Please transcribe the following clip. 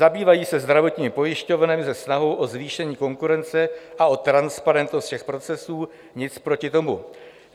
Zabývají se zdravotními pojišťovnami se snahou o zvýšení konkurence a o transparentnost všech procesů - nic proti tomu.